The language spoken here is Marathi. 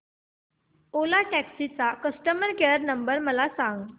ओला टॅक्सी चा कस्टमर केअर नंबर मला सांग